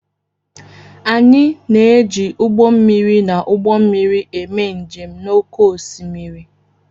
Anyị na-eji ụgbọ mmiri na ụgbọ mmiri eme njem n'oké osimiri.